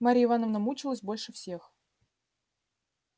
марья ивановна мучилась больше всех